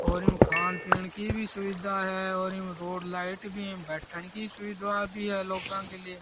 और खान पिन की भी सुविधा है और रोड लाइट भी बैठन की सुविधा भी है लोगा के लिए --